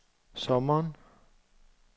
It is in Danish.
sommeren